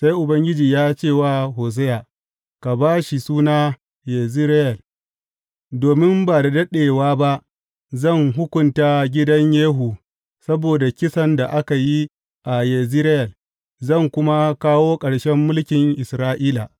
Sai Ubangiji ya ce wa Hosiya, Ka ba shi suna Yezireyel, domin ba da daɗewa ba zan hukunta gidan Yehu saboda kisan da aka yi a Yezireyel, zan kuma kawo ƙarshen mulkin Isra’ila.